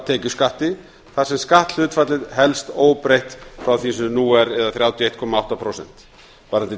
tekjuskatti þar sem skatthlutfallið helst óbreytt frá því sem nú er þrjátíu og eitt komma átta prósent varðandi